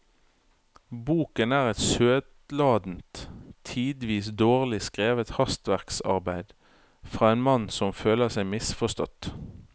Boken er et søtladent, tidvis dårlig skrevet hastverksarbeid fra en mann som føler seg misforstått.